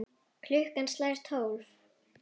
Klukkan slær tólf.